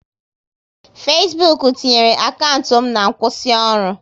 Fesbuk tinyere akaụntụ m na nkwụsịoru